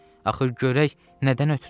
Axır görək nədən ötrü.